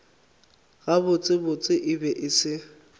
gabotsebotse e be e se